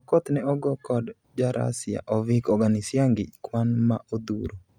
Okoth ne ogo kod jarasia Ovik Oganisyangi kwan ma odhuro